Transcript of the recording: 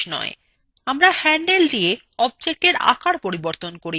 আমরা হ্যান্ডেল দিয়ে objectwe আকার পরিবর্তন করি